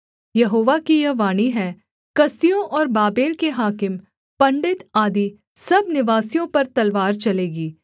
यहोवा की यह वाणी है कसदियों और बाबेल के हाकिम पंडित आदि सब निवासियों पर तलवार चलेगी